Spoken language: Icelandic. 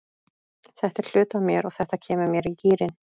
Þetta er hluti af mér og þetta kemur mér í gírinn.